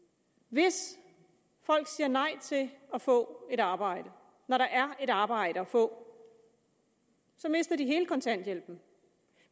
hvis folk siger nej til at få et arbejde når der er et arbejde at få så mister de hele kontanthjælpen